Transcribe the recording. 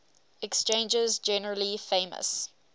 exchanges generally famous